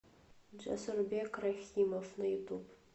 джасурбек рахимов на ютуб